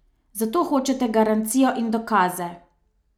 Zato hočete garancijo in dokaze.